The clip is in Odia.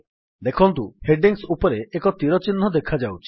ଦେଖନ୍ତୁ ହେଡିଙ୍ଗ୍ସ ଉପରେ ଏକ ତୀର ଚିହ୍ନ ଦେଖାଯାଉଛି